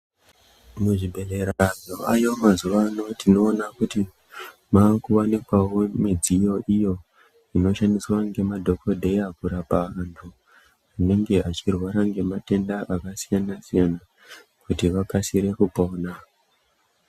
Muzvibhedhlera zvaayo mazuwa ano tinoona kuti maakuwanikwawo midziyo iyo inoshandiswa ngemadhokodheya, kurapa antu anenge achirwara ngematenda akasiyana-siyana, kuti vakasire kupona.